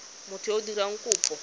motho yo o dirang kopo